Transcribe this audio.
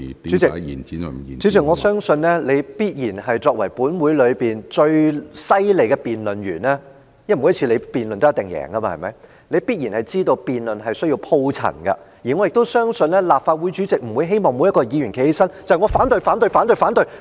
主席，我相信你作為立法會內最厲害的辯論員——因為你每次辯論也一定會贏——也必然知道辯論是需要鋪陳論據的，而我亦相信立法會主席不會希望每個議員站起來只會說"我反對、反對、反對......